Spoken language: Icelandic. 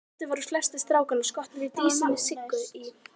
Reyndar voru flestir strákanna skotnir í dísinni Siggu í